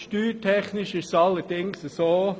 Steuertechnisch ist es allerdings so: